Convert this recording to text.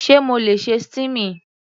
Sé mo le ṣe steaming?